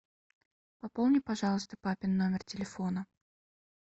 пополни пожалуйста папин номер телефона